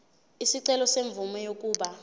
isicelo semvume yokuba